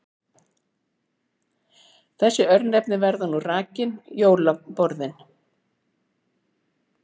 Þessi örnefni verða nú rakin: Jólaborðin